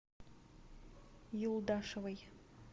юлдашевой